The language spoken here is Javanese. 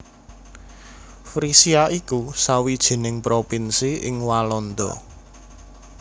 Frisia iku sawijining provinsi ing Walanda